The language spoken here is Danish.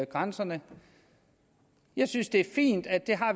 grænserne jeg synes det er fint at